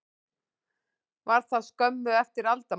Var það skömmu eftir aldamót.